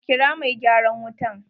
Kira mai gyaran wutan!